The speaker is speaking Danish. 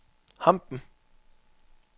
Hampen